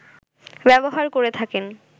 ব্যবহার করে থাকেন